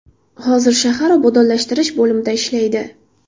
Hozir shahar obodonlashtirish bo‘limida ishlaydi.